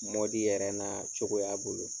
yɛrɛ n'a cogoya bolo